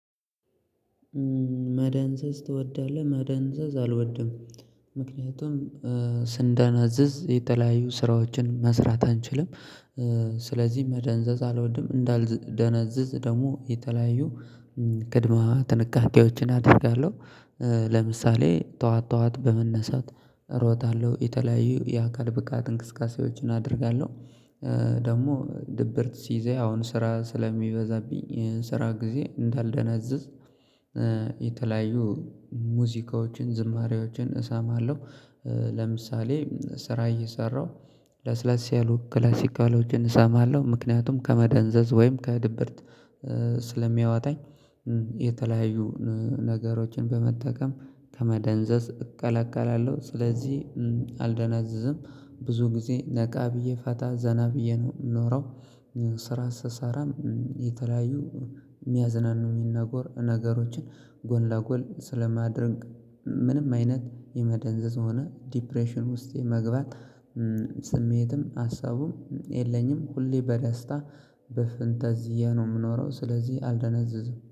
መደንዘዝ ትወዳለህ? መደንዘዝ አልወድም ምክንያቱም ስንደነዝዝ የተለያዩ ስራዎችን መስራት አንችልም። ስለዚህ መደንዘዝ አልወድም እንዳልደነዝዝ ደግሞ የተለያዩ ቅድመ ጥንቃቄዎችን አደርጋለሁ። ለምሳሌ ጠዋት ጠዋት በመነሳት እሮጣለሁ የተለያዩ የአካል ብቃት እንቅስቃሴዎችን አደርጋለሁ። ደግሞ ድብርት ሲይዘኝ አሁን ስራ ስለሚበዛብኝ ስራ ጊዜ እንዳልደነዝዝ የተለያዩ ሙዚቃዎችን ዝማሬዎችን እሰማለሁ። ለምሳሌ ስራ እየሰራሁ ለስለስ ያሉ ክላሲካሎችን እሰማለሁ ምክንያቱም ከመደንዘዝ ወይም ከድብርት ስለሚያወጣኝ። የተለያዩ ነገሮችን በመጠቀም ከመደንዘዝ እከላከላለሁ ስለዚህ አልደነዝዝም። ብዙ ጊዜ ነቃ ብዬ ፈታ ዜና ብዬ ነው የምኖረው። ስራ ስሰራም የተለያዩ የሚያዝናኑ ነገሮችን ጎን ለጎን ስለማደርግ ምንም አይነት የመደንዘዝ ሆነ ድብርት ዲፕሬሽን ውስጥ የመግባት ስሜትም ሀሳቡም የለኝም። ሁሌ በደስታ በፈንጠዝያ ነው የምኖረው ስለዚህ አልደነዝዝም